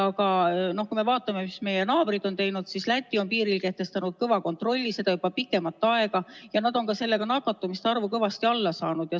Kui me vaatame, mis meie naabrid on teinud, siis Läti on piiril kehtestanud kõva kontrolli, see kehtib juba pikemat aega, ja nad on sellega nakatumiste arvu kõvasti alla saanud.